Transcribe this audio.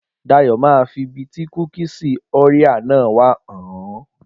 Dayọ̀ máa fi ibi tí kúkìsì Orea náà wà hàn ọ́.